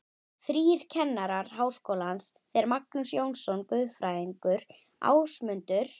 Þrír kennarar Háskólans, þeir Magnús Jónsson guðfræðingur, Ásmundur